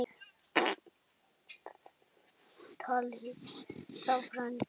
Þar með talið rafræn gögn.